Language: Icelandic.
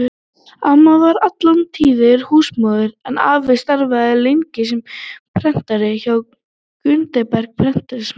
Amma var alla tíð húsmóðir en afi starfaði lengst sem prentari hjá Gutenberg-prentsmiðjunni.